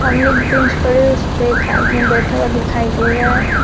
सामने एक बेंच पड़ा हुआ है उसपे एक आदमी बैठा हुआ है।